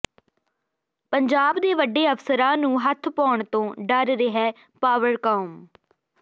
ਪੰਜਾਬ ਦੇ ਵੱਡੇ ਅਫਸਰਾਂ ਨੂੰ ਹੱਥ ਪਾਉਣ ਤੋਂ ਡਰ ਰਿਹੈ ਪਾਵਰਕਾਮ